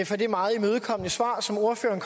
for det meget imødekommende svar som ordføreren